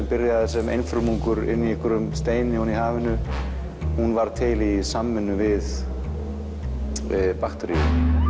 byrjaði sem einfrumungur í steini í hafinu hún varð til í samvinnu við bakteríur